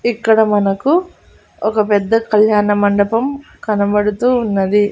ఇక్కడ మనకు ఒక పెద్ద కళ్యాణమండపం కనబడుతూ ఉన్నది.